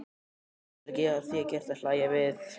Hann getur ekki að því gert að hlæja við.